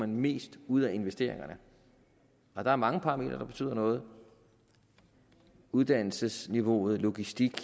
mest ud af investeringerne og der er mange parametre der betyder noget uddannelsesniveauet logistikken